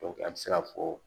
a bɛ se ka fɔ